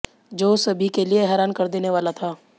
जो सभी के लिए हैरान कर देने वाला था